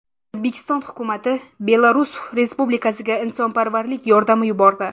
O‘zbekiston hukumati Belarus Respublikasiga insonparvarlik yordami yubordi.